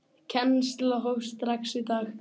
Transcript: Kennsla hófst strax í dag.